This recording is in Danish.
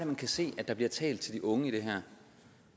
man kan se der bliver talt til de unge i det her